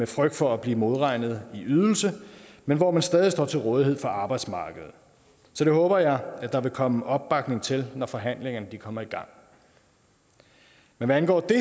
frygt for at blive modregnet i ydelse men hvor man stadig står til rådighed for arbejdsmarkedet så det håber jeg der vil komme opbakning til når forhandlingerne kommer i gang hvad angår det